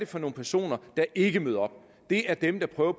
for nogle personer der ikke møder op det er dem der prøver